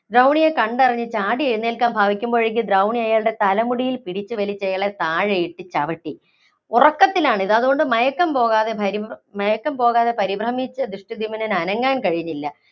ദ്രൗണിയെ കണ്ടറിഞ്ഞ് ചാടി എഴുന്നേല്‍ക്കാന്‍ ഭാവിക്കുമ്പോഴേക്കും ദ്രൗണി അയാളുടെ തലമുടിയില്‍ പിടിച്ചുവലിച്ച് അയാളെ താഴെയിട്ട് ചവിട്ടി. ഉറക്കത്തിലാണിത്. അതുകൊണ്ട് മയക്കം പോകാതെ പരിഭ്ര മയക്കം പോകാതെ പരിഭ്രമിച്ച ദൃഷ്ടധ്യുമ്നനു അനങ്ങാന്‍ കഴിഞ്ഞില്ല.